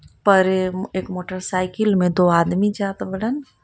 परेम एक motorcycle में दो आदमी जात बाड़न.